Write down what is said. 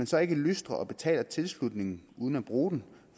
så ikke lystrer og betaler tilslutningen uden at bruge den